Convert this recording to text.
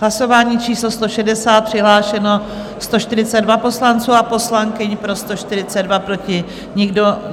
Hlasování číslo 160, přihlášeno 142 poslanců a poslankyň, pro 142, proti nikdo.